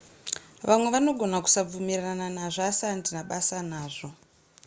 vamwe vanogona kusabvumirana nazvo asi handina basa nazvo